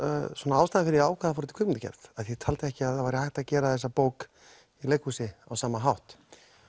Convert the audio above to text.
ástæðan fyrir ég ákvað að fara út í kvikmyndagerð ég taldi ekki að það væri hægt að gera þessa bók í leikhúsi á sama hátt